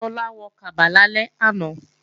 Tọ́lá wọ kaba lálẹ́ àná